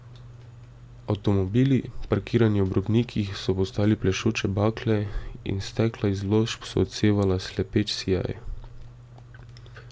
Avtomobili, parkirani ob robnikih, so postali plešoče bakle in stekla izložb so odsevala slepeč sijaj.